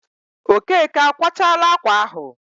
Okeke akwachaala ákwà ahụ?